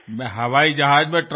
मी विमान प्रवासात असेन